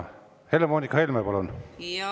Helle-Moonika Helme, palun!